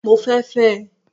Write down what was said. Mo fẹ́ fẹ́ ẹ